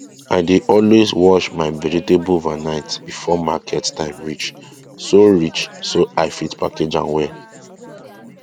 i dey always wash my vegetable overnight before market time reach so reach so i fit package am well